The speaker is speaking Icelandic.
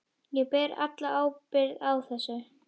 Ég ber alla ábyrgð á þessu.